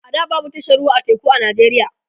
a da babu tashar ruwa ta teku a nijeriya